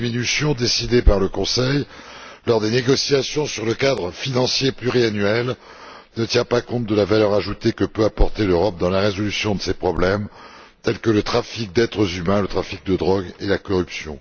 Cette diminution décidée par le Conseil lors des négociations sur le cadre financier pluriannuel ne tient pas compte de la valeur ajoutée que peut apporter l'Europe dans la résolution de problèmes tels que le trafic d'êtres humains, le trafic de drogues ou la corruption.